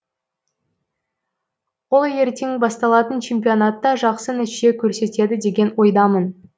ол ертең басталатын чемпионатта жақсы нәтиже көрсетеді деген ойдамын